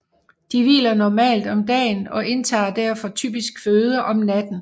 De hviler normalt om dagen og indtager derfor typisk føde om natten